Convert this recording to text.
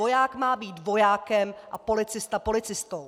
Voják má být vojákem a policista policistou.